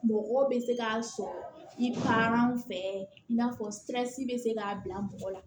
Mɔgɔ bɛ se k'a sɔrɔ i pan fɛ in n'a fɔ siransi bɛ se k'a bila mɔgɔ la